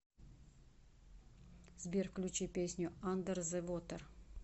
сбер включи песню андер зе вотер